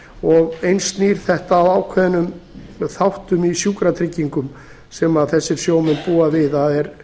og eins snýr þetta að ákveðnum þáttum í sjúkratryggingum sem þessir sjómenn búa við það er